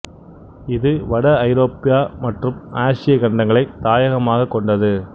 இது வட ஐரோப்பிய மற்றும் ஆசிய கண்டங்களைத் தாயகமாக கொண்டது